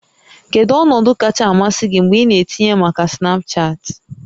Kedu ọnọdụ kacha amasị gị mgbe ị na-etinye maka Snapchat?